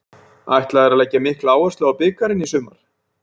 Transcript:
Ætla þeir að leggja mikla áherslu á bikarinn í sumar?